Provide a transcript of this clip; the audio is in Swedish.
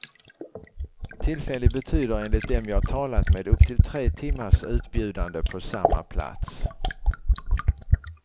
Tillfällig betyder enligt dem jag talat med upp till tre timmars utbjudande på samma plats.